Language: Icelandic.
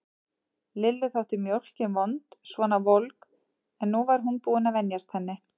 Lillu þótt mjólkin vond svona volg, en nú var hún búin að venjast henni.